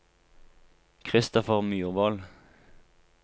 Christopher Myrvold